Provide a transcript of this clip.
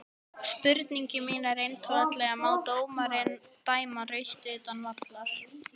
Spurningin mín er einfaldlega má dómari dæma rautt utan vallar?